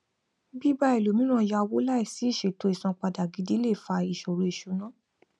bíbá ẹlòmíràn yá owó láìsí ìṣètò isanpada gidi lè fa ìṣòro ìṣúná